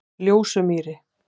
Ljósumýri